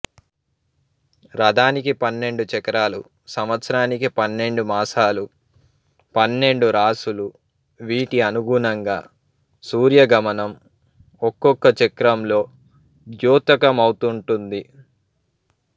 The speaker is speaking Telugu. రధానికి పన్నెండు చక్రాలు సంవత్సరానికి పన్నెండు మాసాలు పన్నెండు రాసులు వీటి అనుగుణంగా సూర్యగమనం ఒక్కొక్క చక్రంలో ద్యోతకమౌతుంటుంది